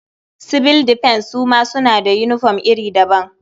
Sibil difens su ma suna da yinifom iri daban.